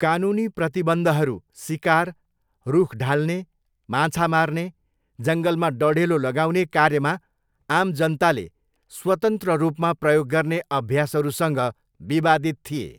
कानुनी प्रतिबन्धहरू सिकार, रुख ढाल्ने, माछा मार्ने, जङ्गलमा डढेलो लगाउने कार्यमा आम जनताले स्वतन्त्र रूपमा प्रयोग गर्ने अभ्यासहरूसँग विवादित थिए।